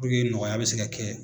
Puruke nɔgɔya bɛ se ka kɛ.